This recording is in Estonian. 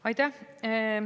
Aitäh!